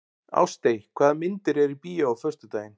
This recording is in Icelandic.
Ástey, hvaða myndir eru í bíó á föstudaginn?